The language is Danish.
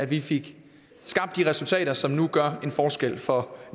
vi fik skabt de resultater som nu gør en forskel for